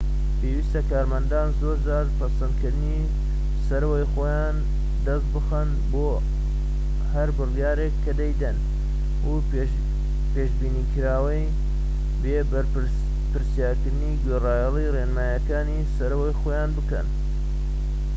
پێویستە کارمەندان زۆرجار پەسەندکردنی سەرەوەی خۆیان دەست بخەن بۆ هەر بڕیارێک کە دەیدەن و پێشبینیکراوە بێ پرسیارکردن گوێڕایەلی ڕێنماییەکانی سەرەوەی خۆیان بکەن